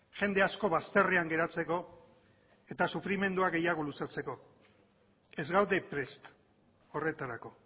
jende asko bazterrean geratzeko eta sufrimendua gehiago luzatzeko ez gaude prest horretarako